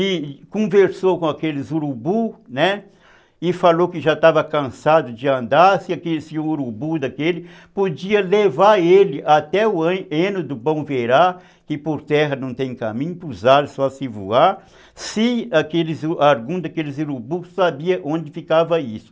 e conversou com aqueles urubus, né, e falou que já estava cansado de andar, se aquele urubu daquele podia levar ele até o heno do bom verá, que por terra não tem caminho, para os ares só se voar, se algum daqueles urubus sabia onde ficava isso.